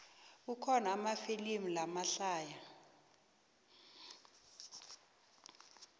kukhona amafilimu lamahlaya